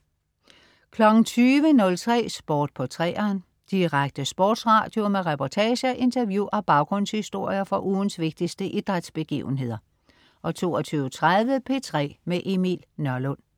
20.03 Sport på 3'eren. Direkte sportsradio med reportager, interview og baggrundshistorier fra ugens vigtigste idrætsbegivenheder 22.30 P3 med Emil Nørlund